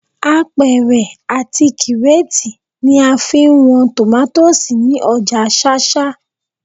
Apẹ̀rẹ̀ àti kírétì ni a fi ń wọn tòmátósì ní ọjà ṣáṣá